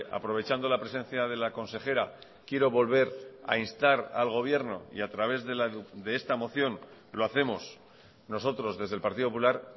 aprovechando la presencia de la consejera quiero volver a instar al gobierno y a través de esta moción lo hacemos nosotros desde el partido popular